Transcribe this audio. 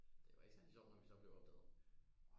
Det var ikke særlig sjovt når vi så blev opdaget